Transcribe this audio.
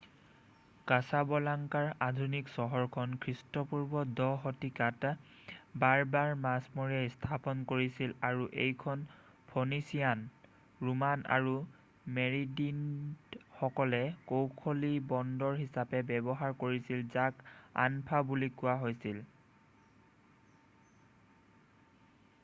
কাছাবলাংকাৰ আধুনিক চহৰখন খ্ৰীষ্টপূৰ্ব 10 শতিকাত বাৰ্বাৰ মাছমৰীয়াই স্থাপন কৰিছিল আৰু এইখন ফনিচিয়ান ৰোমান আৰু মেৰেনিডসকলে কৌশলী বন্দৰ হিচাপে ব্যৱহাৰ কৰিছিল যাক আনফা বুলি কোৱা হৈছিল